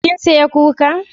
Kin saya kuka?